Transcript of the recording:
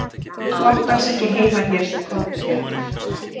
Þú átt alls ekkert heima hér svo, komdu þér burt.